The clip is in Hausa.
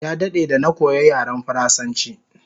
Ya dade da na koya yaren faransanchi